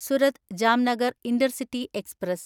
Surat Jamnagar intercity express